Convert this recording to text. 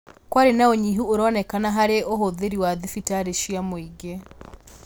Kwarĩ na ũnyihu ũroneka harĩ ũhũthĩri wa thibitarĩ cia mũingĩ